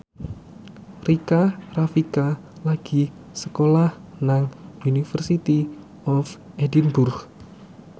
Rika Rafika lagi sekolah nang University of Edinburgh